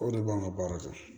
O de b'an ka baara kɛ